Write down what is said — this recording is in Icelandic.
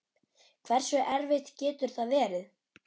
Hversu erfitt getur það verið?